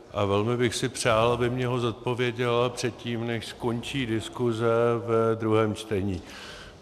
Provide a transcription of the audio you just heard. A velmi bych si přál, aby mi ho zodpověděla předtím, než skončí diskuse ve druhém čtení.